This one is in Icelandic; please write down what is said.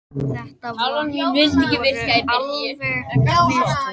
Þetta voru alvarleg mistök